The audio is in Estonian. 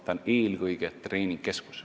See on eelkõige treeningkeskus.